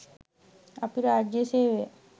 අපි රාජ්‍ය සේවය